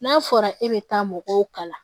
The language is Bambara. N'a fɔra e bɛ taa mɔgɔw kalan